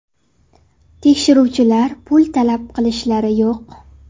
Tekshiruvchilar, pul talab qilishlar yo‘q.